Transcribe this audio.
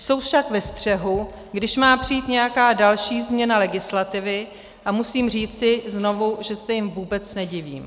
Jsou však ve střehu, když má přijít nějaká další změna legislativy, a musím říci znovu, že se jim vůbec nedivím.